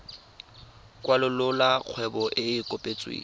kwalolola kgwebo e e kopetsweng